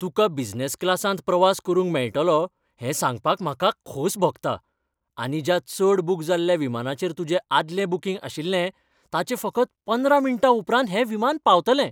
तुका बिझनेस क्लासांत प्रवास करूंक मेळटलो हें सांगपाक म्हाका खोस भोगता आनी ज्या चड बूक जाल्ल्या विमानाचेर तुजें आदलें बुकींग आशिल्लें ताचे फकत पंदरा मिनटां उपरांत हें विमान पावतलें.